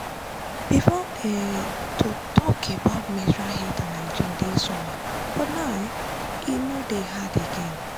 before um to talk about menstrual health and hygiene dey somehow but but now um e no dey hard again.